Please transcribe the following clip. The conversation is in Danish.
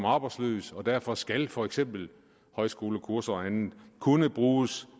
arbejdsløs og derfor skal for eksempel højskolekurser og andet kunne bruges